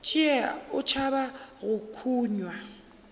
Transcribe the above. tšee o tšhaba go kunywa